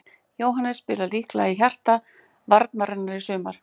Jóhannes spilar líklega í hjarta varnarinnar í sumar.